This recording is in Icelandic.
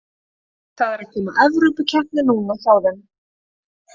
Það er að koma Evrópukeppni núna hjá þeim.